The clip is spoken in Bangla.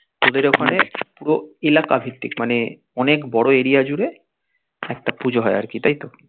তোদের ওখানে পুরো এলাকা ভিত্তিক মানে অনেক বোরো এলাকা জুড়ে পুজো হয় আর কি তাই তো